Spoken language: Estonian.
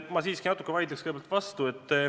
Ma siiski natuke vaidlen kõigepealt vastu.